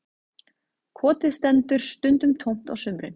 Kotið stendur stundum tómt á sumrin